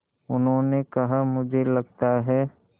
उन्होंने कहा मुझे लगता है